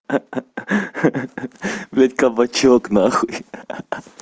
ха-ха ведь кабачок нахуй ха-ха